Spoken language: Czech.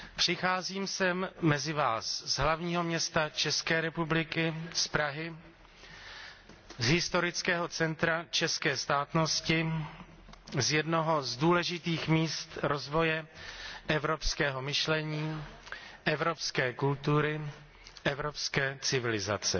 Přicházím sem mezi vás z hlavního města České republiky, z Prahy, z historického centra české státnosti, z jednoho z důležitých míst rozvoje evropského myšlení, evropské kultury, evropské civilizace.